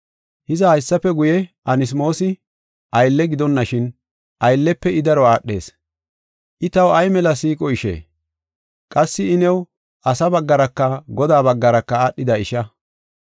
Hiza, haysafe guye Anasmoosi aylle gidonashin, ayllefe I daro aadhees. I taw ay mela siiqo ishe! Qassi I new asa baggaraka Godaa baggaraka aadhida isha.